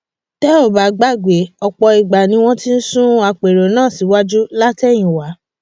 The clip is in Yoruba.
tẹ ò bá gbàgbé ọpọ ìgbà ni wọn ti ń sún àpérò náà síwájú látẹyìnwá